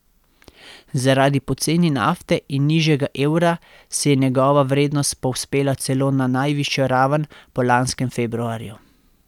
Zaradi poceni nafte in nižjega evra se je njegova vrednost povzpela celo na najvišjo raven po lanskem februarju.